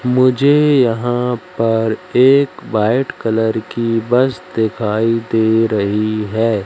मुझे यहां पर एक वाइट कलर की बस दिखाई दे रही है।